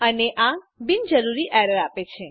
અને આ બિનજરૂરી એરર આપે છે